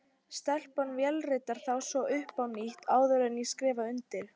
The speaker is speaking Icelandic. Stelpan vélritar þá svo upp á nýtt, áður en ég skrifa undir.